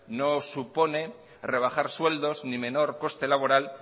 no supone rebajar sueldos ni menor coste laboral